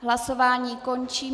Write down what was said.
Hlasování končím.